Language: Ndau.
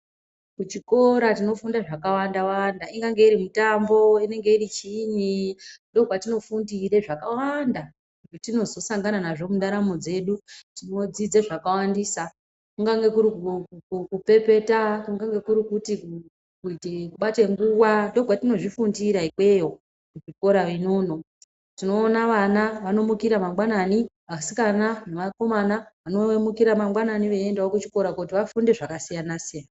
Kuchikora tinofunda zvakawandawanda ingange iri mitambo, inenge iri chiinyi ndopatinofundire zvakawanda zvetinozosangana nazvo mundaramo dzedu, tinodzidze zvakawandisa, kungange kuri kupepeta, kungange kuri kuite kubate nguwa ndiko kwetinozvifundira ikweyo kuchikora inono. Tinoona vana vanomukira mangwanani, vasikana nevakomana vanomukira mangwanani veindawo kuchikora kuti vafunde zvakasiyana siyana.